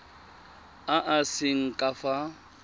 a a seng ka fa